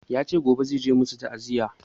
Yace gobe zai je musu ta'aziya